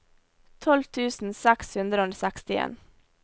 tolv tusen seks hundre og sekstien